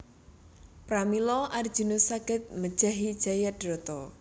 Pramila Arjuna saged mejahi Jayadrata